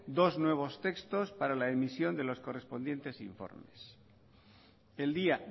dos nuevos textos para la emisión de los correspondientes informes el día